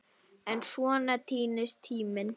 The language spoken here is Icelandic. En svona týnist tíminn.